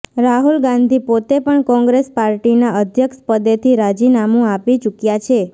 રાહુલ ગાંધી પોતે પણ કોંગ્રેસ પાર્ટીના અધ્યક્ષ પદેથી રાજીનામું આપી ચૂક્યા છે